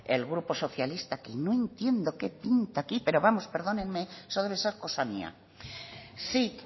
el grupo socialista que no entiendo qué pinta aquí pero vamos perdónenme eso debe de ser cosa mía sí